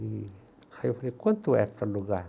E... Aí eu falei, quanto é para alugar?